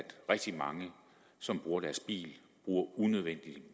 rigtig mange som bruger deres bil bruger unødig